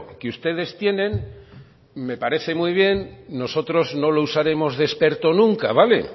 que ustedes tienen me parece muy bien nosotros no lo usaremos de experto nunca vale